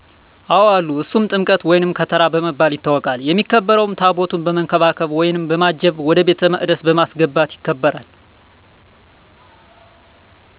አወ አለ እሱም ጥምቀት ወይም ከተራ በመባል ይታወቃል። የሚከበረውም ታቦቱን በመንከባከብ ወይም በማጀብ ወደ ቤተ መቅደሰ በማሰገባት ይከበራል።